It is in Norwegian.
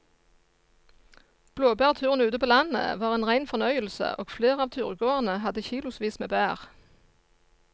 Blåbærturen ute på landet var en rein fornøyelse og flere av turgåerene hadde kilosvis med bær.